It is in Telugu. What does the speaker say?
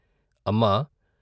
' అమ్మా!